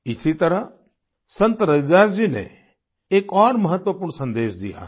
इसी तरह संत रविदास जी ने एक और महत्वपूर्ण सन्देश दिया है